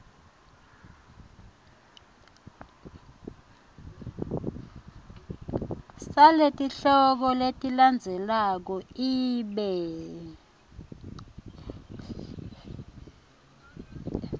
saletihloko letilandzelako ibe